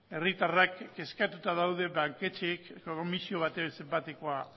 herritarrak kezkatuta daude banketxeek komisio baten zenbatekoa